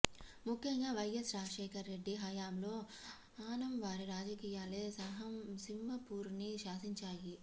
ముఖ్యంగా వైఎస్ రాజశేఖర్ రెడ్డి హయాంలో ఆనం వారి రాజకీయాలే సింహపురిని శాసించాయి